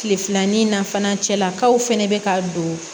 Tile filanan fana cɛlakaw fana bɛ ka don